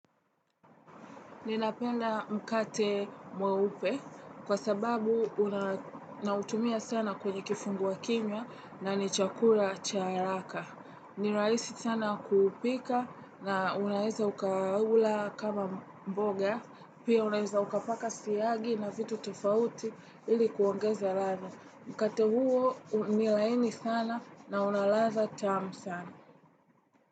Ninapenda mkate mweupe kwa sababu unautumia sana kwenye kifungua kimya na ni chakula cha haraka. Ni rahisi sana kuupika na unaeza ukaula kama mboga, pia unaeza ukapaka siagi na vitu tofauti ili kuongeza radha. Mkate huo unilaini sana na una ladha tamu sana.